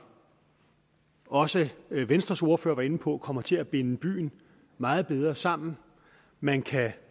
også venstres ordfører var inde på kommer til at binde byen meget bedre sammen man kan